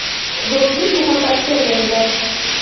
Do‘stlik muhabbatga aylangan.